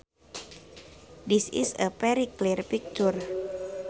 This is a very clear picture